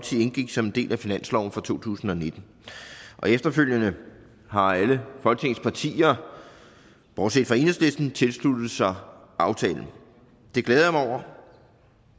indgik som en del af finansloven for to tusind og nitten efterfølgende har alle folketingets partier bortset fra enhedslisten tilsluttet sig aftalen og det glæder jeg mig over